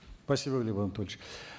спасибо глеб анатольевич